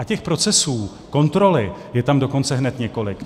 A těch procesů kontroly je tam dokonce hned několik.